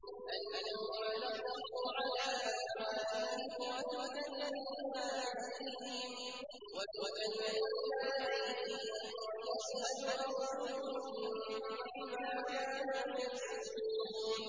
الْيَوْمَ نَخْتِمُ عَلَىٰ أَفْوَاهِهِمْ وَتُكَلِّمُنَا أَيْدِيهِمْ وَتَشْهَدُ أَرْجُلُهُم بِمَا كَانُوا يَكْسِبُونَ